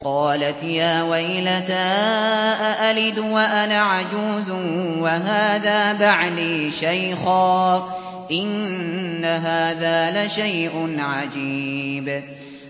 قَالَتْ يَا وَيْلَتَىٰ أَأَلِدُ وَأَنَا عَجُوزٌ وَهَٰذَا بَعْلِي شَيْخًا ۖ إِنَّ هَٰذَا لَشَيْءٌ عَجِيبٌ